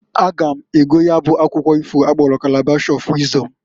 A ga m ego ya bụ akwukwu ifo akpọlụ Kalabash of Wịzdọm.